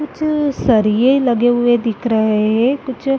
कुछ सरिए लगे हुए दिख रहे हैं कुछ --